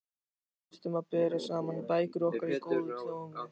Við þyrftum að bera saman bækur okkar í góðu tómi.